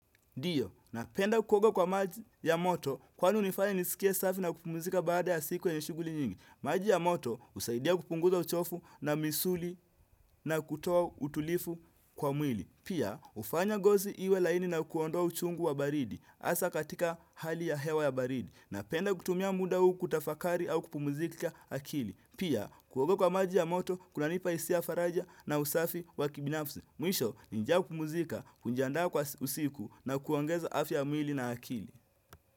Ndiyo, napenda kuoga kwa maji ya moto kwani unifanya nisikie safi na kupumuzika baada ya siku yenye shughuli nyingi. Maji ya moto usaidia kupunguza uchofu na misuli na kutoa utulivu kwa mwili. Pia, ufanya ngozi iwe laini na kuondoa uchungu wa baridi hasa katika hali ya hewa ya baridi. Napenda kutumia muda uu kutafakari au kupumuzishaakili. Pia, kuoga kwa maji ya moto kunanipa hisia faraja na usafi wa kibinafsi Mwisho nikitaka kupumzika, kujindaa kwa usiku na kuongeza afya mili na akili.